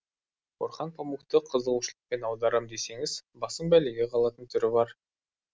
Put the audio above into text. орхан памукты қызығушылықпен аударам десеңіз басың бәлеге қалатын түрі бар